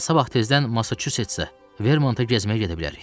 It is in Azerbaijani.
Elə sabah tezdən Masaçusetsə, Vermonta gəzməyə gedə bilərik.